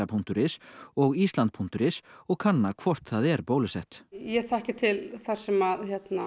punktur is og island punktur is og kanna hvort það er bólusett ég þekki til þar sem